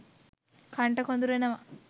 කණට කොඳුරනවා.